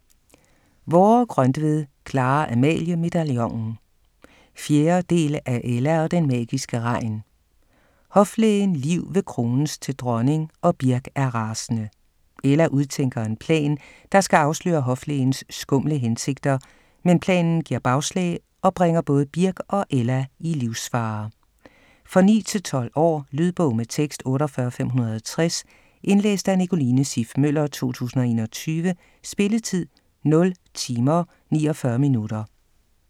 Vorre-Grøntved, Clara-Amalie: Medaljonen 4. del af Ella og den magiske regn. Hoflægen Liv vil krones til dronning, og Birk er rasende. Ella udtænker en plan, der skal afsløre hoflægens skumle hensigter, men planen giver bagslag og bringer både Birk og Ella i livsfare. For 9-12 år. Lydbog med tekst 48560 Indlæst af Nicoline Siff Møller, 2021. Spilletid: 0 timer, 49 minutter.